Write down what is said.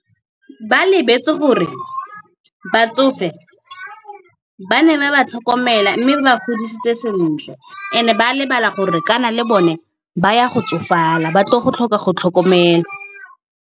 Ba lebetse gore batsofe ba ne ba ba tlhokomela mme ba godisitse sentle, and ba lebala gore kana le bone ba ya go tsofala, ba tlo go tlhoka go tlhokomelwa.